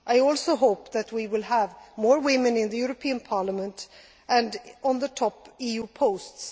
I also hope that we will have more women in the European Parliament and in top EU posts.